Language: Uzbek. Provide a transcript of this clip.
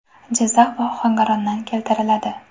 Jizzax va Ohangarondan keltiriladi.